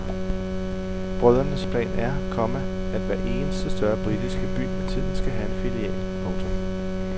Brødrenes plan er, komma at hver eneste større britiske by med tiden skal have en filial. punktum